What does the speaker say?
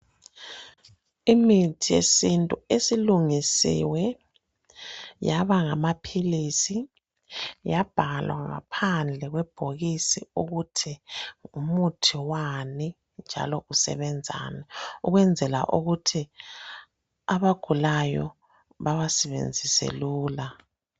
Imithi yesintu esilungisiwe yaba ngamaphilisi yabhalwa ngaphandle kwebhokisi ukuthi ngumuthi wani njalo usebenzani ukwenzela ukuthi abagulayo bawasebenzise lula.